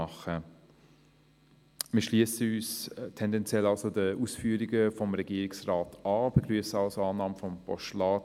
Wir schliessen uns tendenziell den Ausführungen des Regierungsrates an und begrüssen somit die Annahme der Ziffer 2 als Postulat.